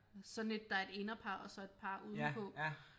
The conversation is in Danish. Sådan et der er et inderpar og så et par udenpå